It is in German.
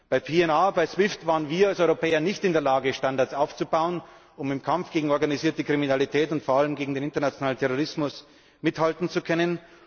Bei PNR, bei SWIFT waren wir als Europäer nicht in der Lage, Standards aufzubauen, um im Kampf gegen die organisierte Kriminalität und vor allem gegen den internationalen Terrorismus mithalten zu können.